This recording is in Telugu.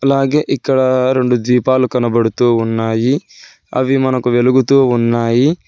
అలాగే ఇక్కడ రెండు దీపాలు కనబడుతూ ఉన్నాయి అవి మనకు వెలుగుతూ ఉన్నాయి.